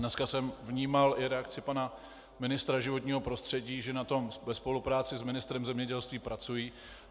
Dnes jsem vnímal i reakci pana ministra životního prostředí, že na tom ve spolupráci s ministrem zemědělství pracují.